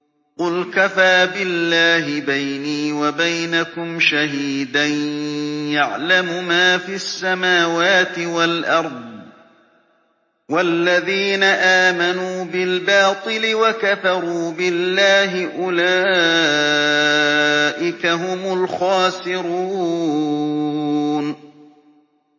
قُلْ كَفَىٰ بِاللَّهِ بَيْنِي وَبَيْنَكُمْ شَهِيدًا ۖ يَعْلَمُ مَا فِي السَّمَاوَاتِ وَالْأَرْضِ ۗ وَالَّذِينَ آمَنُوا بِالْبَاطِلِ وَكَفَرُوا بِاللَّهِ أُولَٰئِكَ هُمُ الْخَاسِرُونَ